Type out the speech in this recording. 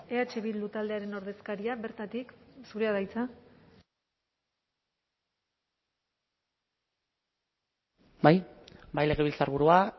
eh bildu taldearen ordezkaria bertatik zurea da hitza bai bai legebiltzarburua